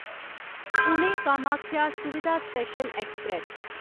Pune Kamakhya Suvidha special express